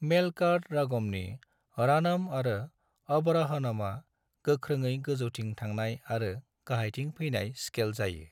मेलकार्ट रागमनि रानम आरो आवारहनमा गोग्ख्रोङै गोजौथिं थांनाय आरो गाहायथिं फैनाय स्केल जायो।